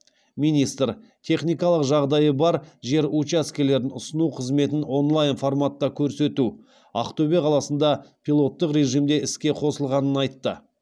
министр техникалық жағдайы бар жер учаскелерін ұсыну қызметін онлайн форматта көрсету ақтөбе қаласында пилоттық режимде іске қосылғанын айтты